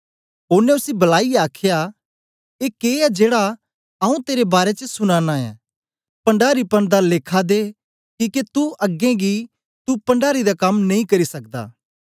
ओनें उसी बलाईयै आखया ए के ऐ जेड़ा आऊँ तेरे बारै च सुना नां ऐं अपने पण्डारीपन दा लेखा दे किके तू अगें गी तू पण्डारी दा कम्म नेई करी सकदा